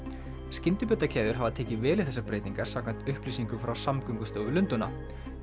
skyndibitakeðjur hafa tekið vel í þessar breytingar samkvæmt upplýsingum frá Samgöngustofu Lundúna